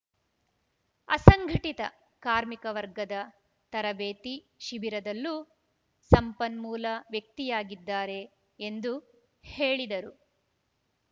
ಅಸಂಘಟಿತ ಕಾರ್ಮಿಕ ವರ್ಗದ ತರಬೇತಿ ಶಿಬಿರದಲ್ಲೂ ಸಂಪನ್ಮೂಲ ವ್ಯಕ್ತಿಯಾಗಿದ್ದಾರೆ ಎಂದು ಹೇಳಿದರು